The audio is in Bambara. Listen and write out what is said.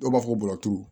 Dɔw b'a fɔ ko bɔrɔturu